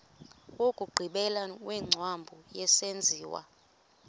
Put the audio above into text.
wokugqibela wengcambu yesenziwa